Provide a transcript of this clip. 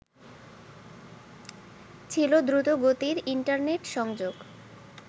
ছিল দ্রুতগতির ইন্টারনেট সংযোগ